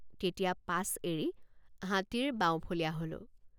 তেতিয়া পাছ এৰি হাতীৰ বাওঁফলীয়া হলোঁ।